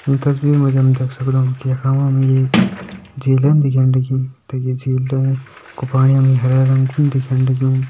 ईं तस्वीर मा जी हम देख सगदों कि यखा मा हमि एक झीलन दिखेण लगीं तखि झीलें कु पाणि हमतें हरा रंग कु दिखेण लग्युं।